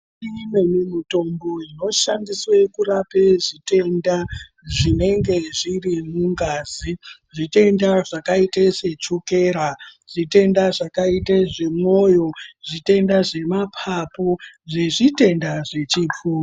Imweni mitombo inoshandiswe kurape zvitenda zvinenge zviri mungazi zvitenda zvakaite se chokera, zvitenda zvakaite zvemwoyo ,zvitenda zvemapapu, zvezvitenda zvechipfuva.